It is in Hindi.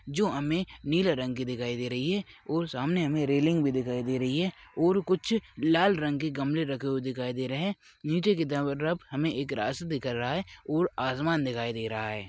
जो हमें नील रंग की दिखाई दे रही है और सामने हमें रैलिंग भी दिखाई दे रही है और कुछ लाल रंग के गमले रखे हुए दिखाई दे रहे है नीचे की तरफ़ हमें एक रास रास्ता दिख रहा हैं और आसमान दिखाई दे रहा हैं।